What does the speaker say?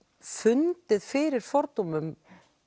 fundið fyrir fordómum